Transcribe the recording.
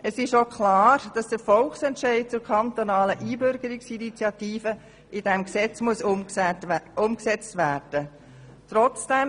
Es ist auch klar, dass der Volksentscheid zur kantonalen Einbürgerungsinitiative in diesem Gesetz umgesetzt werden muss.